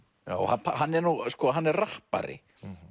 já hann er hann er rappari